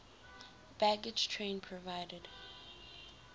baggage train provided